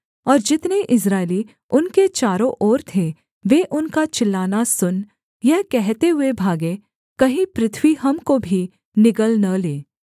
और जितने इस्राएली उनके चारों ओर थे वे उनका चिल्लाना सुन यह कहते हुए भागे कहीं पृथ्वी हमको भी निगल न ले